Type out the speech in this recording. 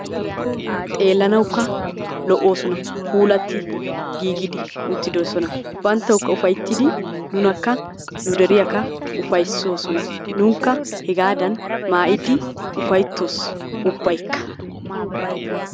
xeelanawukka lo'oosona. puulatti giigidi uttidosona. bantawukka ufayttidi nunakka nu deriyakka ufaytoosona. nunkka hegaadan maayidi ufaytoos ubaykka.